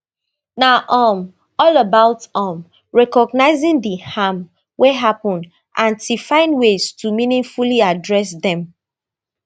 na um all about um recognising di harm wey happun and t find ways to meaningfully address dem